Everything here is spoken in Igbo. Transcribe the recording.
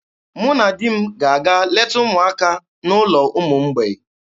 Mụ na di m ga-aga leta ụmụaka n'ụlọ ụmụ mgbei.